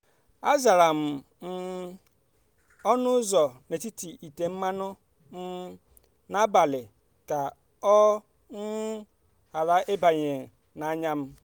azara um m ọnụ ụzọ n’etiti ite mmanụ um na-agbalị ka ọ um ghara ịbanye n’anya m."